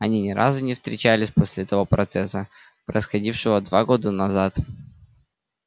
они ни разу не встречались после того процесса происходившего два года назад